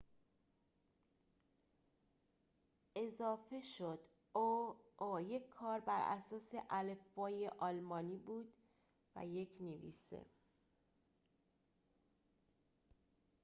این کار بر اساس الفبای آلمانی بود و یک نویسه «õ/õ» اضافه شد